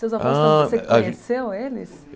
Seus avós, Ah a Você conheceu eles?